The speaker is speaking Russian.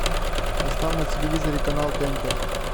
поставь на телевизоре канал тнт